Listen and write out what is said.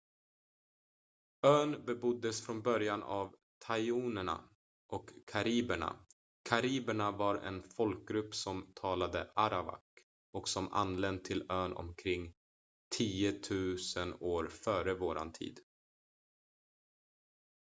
ön beboddes från början av tainoerna och kariberna kariberna var en folkgrupp som talade arawak och som anlänt till ön omkring 10 000 f.v.t